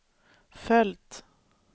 följt